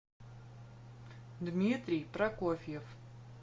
дмитрий прокофьев